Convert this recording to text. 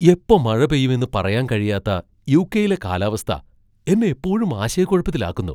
എപ്പോ മഴ പെയ്യുമെന്ന് പറയാൻ കഴിയാത്ത യു.കെ.യിലെ കാലാവസ്ഥ എന്നെ എപ്പോഴും ആശയക്കുഴപ്പത്തിലാക്കുന്നു.